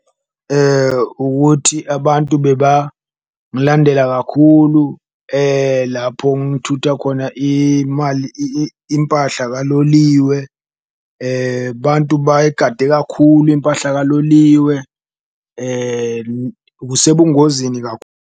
Ukuthi abantu beba mlandela kakhulu lapho ngithutha khona imali impahla kaloliwe, bantu bayigade kakhulu impahla kaloliwe usebungozini .